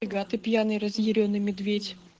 игра ты пьяный разъярённый медведь